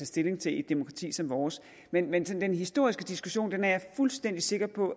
stilling til i et demokrati som vores men men den historiske diskussion er jeg fuldstændig sikker på